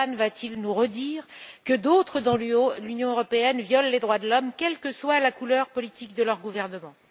Orbán va t il nous redire que d'autres, dans l'Union européenne, violent les droits de l'homme, quelle que soit la couleur politique de leur gouvernement.